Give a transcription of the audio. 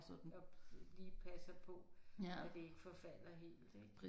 Og lige passer på at det ikke forfalder helt ik